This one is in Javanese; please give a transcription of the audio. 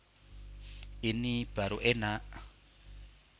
Ini Baru Enak